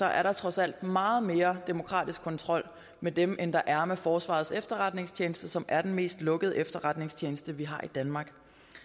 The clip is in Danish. er der trods alt meget mere demokratisk kontrol med dem end der er med forsvarets efterretningstjeneste som er den mest lukkede efterretningstjeneste vi har i danmark